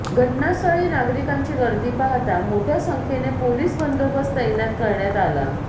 घटनास्थळी नागरिकांची गर्दी पाहता मोठ्या संख्येने पोलीस बंदोबस्त तैनात करण्यात आला